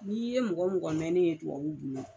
N'i ye mɔgɔ mɔgɔ mɛnnen ye tubabu bolo